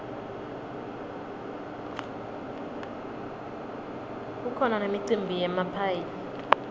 kukhona nemicimbi yemaphayhi